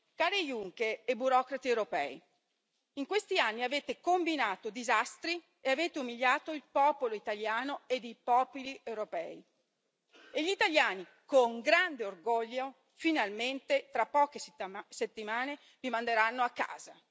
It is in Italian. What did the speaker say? Cari Juncker e burocrati europei, in questi anni avete combinato disastri e avete umiliato il popolo italiano e i popoli europei e gli italiani, con grande orgoglio, finalmente tra poche settimane vi manderanno a casa.